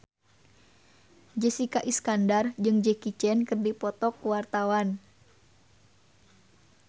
Jessica Iskandar jeung Jackie Chan keur dipoto ku wartawan